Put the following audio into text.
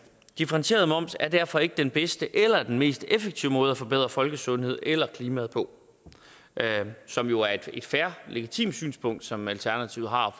differentieret moms er derfor ikke den bedste eller den mest effektive måde at forbedre folkesundheden eller klimaet på som jo er et fair og legitimt synspunkt som alternativet har